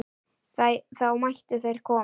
Þá mættu þeir koma.